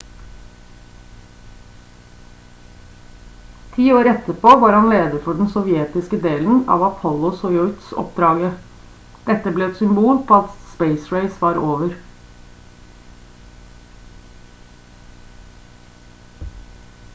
10 år etterpå var han leder for den sovjetiske delen av apollo-soyuz-oppdraget dette ble et symbol på at space race var over